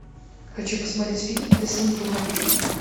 хочу посмотреть фильм десантура